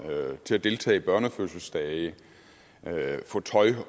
til at deltage i børnefødselsdage til at få tøj